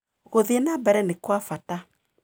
Gũthiĩ na mbere nĩ kwa bata.